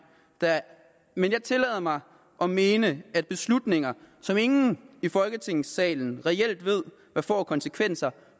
men jeg tillader mig at mene at beslutninger som ingen i folketingssalen reelt ved hvad får af konsekvenser